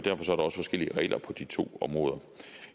også forskellige regler på de to områder